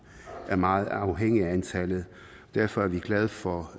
er meget afhængig af antallet derfor er vi glade for